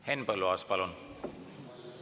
Henn Põlluaas, palun!